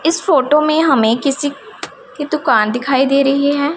इस फोटो में हमें किसी की दुकान दिखाई दे रही है।